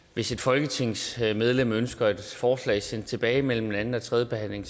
hvis et folketingsmedlem ønsker et forslag sendt tilbage mellem anden og tredje behandling